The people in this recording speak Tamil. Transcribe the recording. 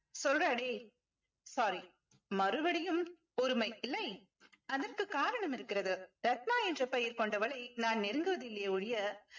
சொல்றா டேய்ய் sorry மறுபடியும் பொறுமை இல்லை அதற்கு காரணம் இருக்கிறது ரத்னா என்ற பெயர் கொண்டவளை நான் நெருங்குவதில்லையே ஒழிய